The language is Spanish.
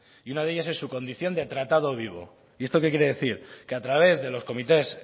y una de ellas es su condición de tratado vivo y esto qué quiere decir que a través de los comités